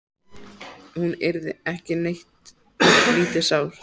Hún yrði ekki neitt lítið sár.